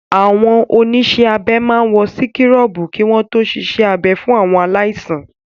Àwọn oníṣẹ́ abẹ máa wọ síkúrọ̀bù kí wọ́n to ṣiṣẹ́ abẹ fún àwọn aláìsàn.